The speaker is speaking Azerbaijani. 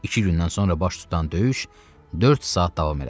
İki gündən sonra baş tutan döyüş dörd saat davam elədi.